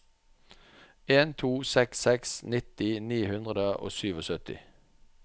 en to seks seks nitti ni hundre og syttisju